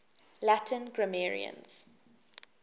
latin grammarians